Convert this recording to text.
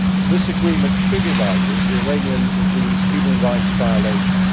This agreement trivialises the Iranian regime's human rights violations.